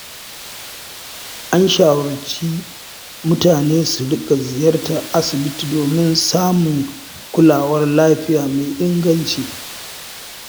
An shawarci mutane su riƙa ziyartar asibiti domin samun kulawar lafiya mai inganci.